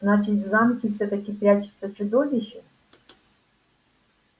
значит в замке всё-таки прячется чудовище